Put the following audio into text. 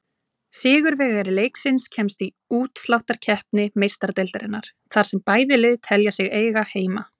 Sigurvegari leiksins kemst í útsláttarkeppni Meistaradeildarinnar, þar sem bæði lið telja sig eiga heima.